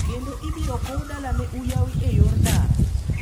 Kendo ibiro kow dalane Uyawi e yor ndara.